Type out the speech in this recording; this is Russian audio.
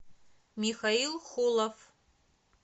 михаил холов